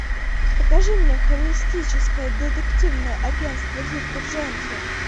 покажи мне холистическое детективное агентство дирка джентли